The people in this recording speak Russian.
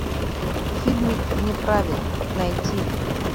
фильмик вне правил найти